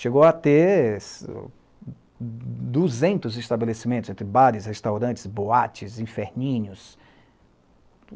Chegou a ter duzentos estabelecimentos entre bares, restaurantes, boates, inferninhos.